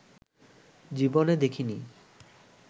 জীবনে দেখেনি